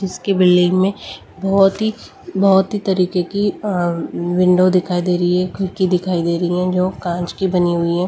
जैसे की बिल्डिंग में बहुत ही बहुत ही तरीके की विंडो दिखाई दे रही है ककी दिखाई दे रही है जो कांच की बनी हुई है।